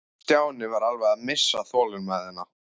Stjáni var alveg að missa þolinmæðina.